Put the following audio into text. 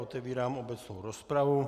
Otevírám obecnou rozpravu.